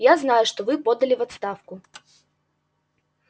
я знаю что вы подали в отставку